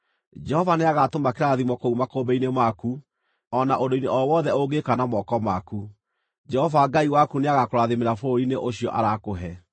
Jehova nĩagatũma kĩrathimo kũu makũmbĩ-inĩ maku o na ũndũ-inĩ o wothe ũngĩka na moko maku. Jehova Ngai waku nĩagakũrathimĩra bũrũri-inĩ ũcio arakũhe.